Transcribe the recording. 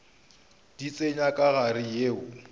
di tsenya ka gare yeo